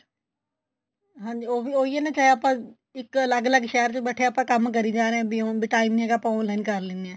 ਹਾਂਜੀ ਉਹ ਹੀ ਉਹ ਹੀ ਹੈ ਨਾ ਚਾਹੇ ਆਪਾਂ ਇੱਕ ਅੱਲਗ ਅੱਲਗ ਸ਼ਹਿਰ ਚ ਬੈਠੇ ਆ ਆਪਾ ਕੰਮ ਕਰੀ ਜਾ ਰਹੇ ਆ time ਨੀ ਹੈਗਾ ਆਪਾਂ online ਕੇ ਲੈਨੇ ਹਾਂ